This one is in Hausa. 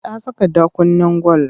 Ta saka ɗakunnen gwal.